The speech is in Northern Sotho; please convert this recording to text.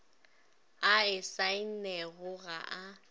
a e saennego ga a